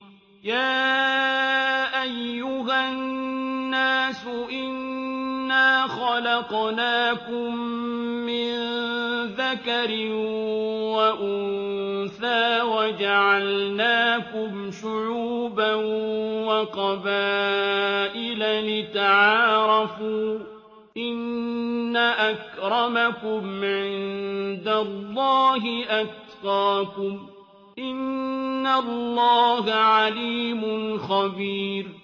يَا أَيُّهَا النَّاسُ إِنَّا خَلَقْنَاكُم مِّن ذَكَرٍ وَأُنثَىٰ وَجَعَلْنَاكُمْ شُعُوبًا وَقَبَائِلَ لِتَعَارَفُوا ۚ إِنَّ أَكْرَمَكُمْ عِندَ اللَّهِ أَتْقَاكُمْ ۚ إِنَّ اللَّهَ عَلِيمٌ خَبِيرٌ